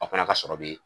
Aw fana ka sɔrɔ be